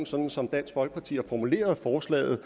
sådan som dansk folkeparti har formuleret forslaget